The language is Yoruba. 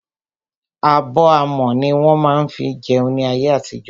Abọ́ amọ̀ ní wọ́n má ń fí jẹun ní ayé àtijọ́.